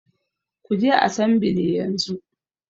Kuje asambile yanzu